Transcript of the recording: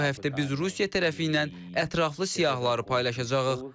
Bu həftə biz Rusiya tərəfi ilə ətraflı siyahıları paylaşacağıq.